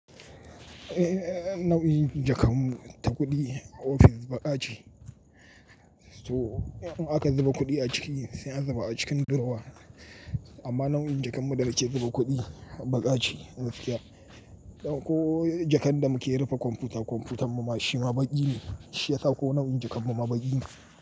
Eh, nau'in jakamu ta kuɗi ofis baƙa ce. So in aka zuba kuɗi a ciki sai an zuba a cikin durowa. Amma nau'in jakar mu da yake zuba kuɗi baƙa ce. Ko jakan da muke rufe kwamfuta, kwamfutar mu mashina baƙi ne. Shi ya sa ko nau'in jakan mu ma baƙi ne.